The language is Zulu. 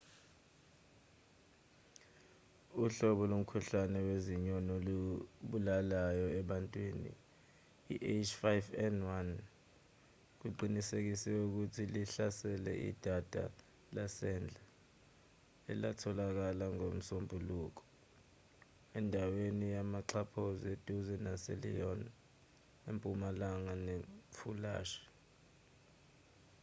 uhlobo lomkhuhlane wezinyoni olubulalayo ebantwini i-h5n1 kuqinisekisiwe ukuthi luhlasele idada lasendle elatholakala ngomsombuluko endaweni yamaxhaphozi eduze naselyon empumalanga nefulansi